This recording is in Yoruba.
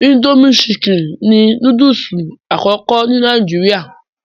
Indomie Chicken ni núdúsì àkọ́kọ́ ni Nàìjíríà